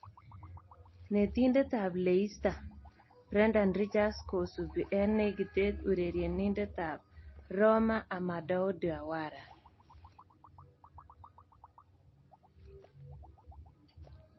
(Football Insider) Netindet ab Leicester Brendan Ridgers kosubi eng negitet urerenindet ab Roma Amadou Diawara.